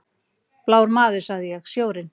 Blár maður, sagði ég: Sjórinn.